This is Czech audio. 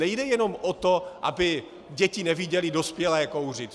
Nejde jenom o to, aby děti neviděly dospělé kouřit.